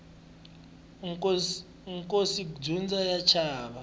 nkosi ndza wu chava